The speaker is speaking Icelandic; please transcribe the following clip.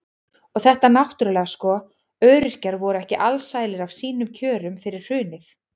Og þetta náttúrulega sko, öryrkjar voru ekki alsælir af sínum kjörum fyrir hrunið.